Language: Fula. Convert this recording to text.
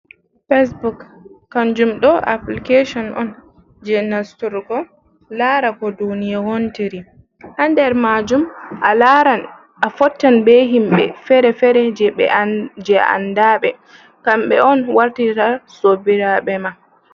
Facebok kanjum ɗo applicasion on je nasturgo lara ko duniya wontiri ha nder majum a fottan be himɓe fere-fere je a andaɓe kamɓe on wartata sobiraɓe ma.